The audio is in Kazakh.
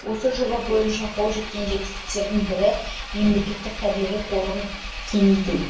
осы жоба бойынша қол жеткен жетістіктердің бірі ауданды алып жатқан алакөл мемлекеттік табиғи қорығын дейін кеңейту